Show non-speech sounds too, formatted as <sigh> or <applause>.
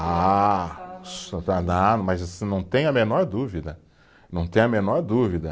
Ah, <unintelligible> mas não tenho a menor dúvida, não tenho a menor dúvida.